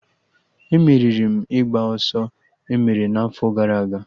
E meriri m ịgba ọsọ emere n'afọ gara aga